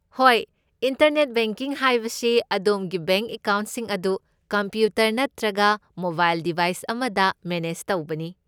ꯍꯣꯏ, internet banking ꯍꯥꯏꯕꯁꯤ ꯑꯗꯣꯝꯒꯤ ꯕꯦꯡꯛ ꯑꯦꯀꯥꯎꯟꯠꯁꯤꯡ ꯑꯗꯨ ꯀꯝꯄ꯭ꯌꯨꯇꯔ ꯅꯠꯇ꯭ꯔꯒ ꯃꯣꯕꯥꯏꯜ ꯗꯤꯕꯥꯏꯁ ꯑꯃꯗ ꯃꯦꯅꯦꯖ ꯇꯧꯕꯅꯤ꯫